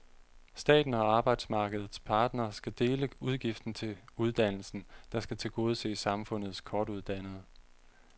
Staten og arbejdsmarkedets parter skal dele udgiften til uddannelsen, der skal tilgodese samfundets kortuddannede.